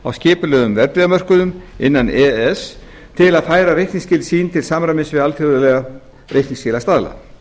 á skipulegum verðbréfamörkuðum innan e e s til að færa reikningsskil sín til samræmis við alþjóðlega reikningsskilastaðla